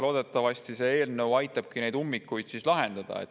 Loodetavasti see eelnõu aitab neid ummikuid lahendada.